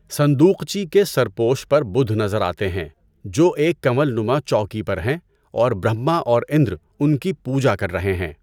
صندوقچی کے سرپوش پر بدھ نظر آتے ہیں جو ایک کنول نما چوکی پر ہیں اور برہما اور اندر ان کی پوجا کر رہے ہیں۔